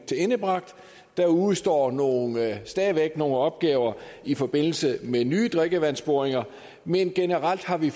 tilendebragt der udestår stadig væk nogle opgaver i forbindelse med nye drikkevandsboringer men generelt har vi